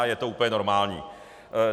A je to úplně normální.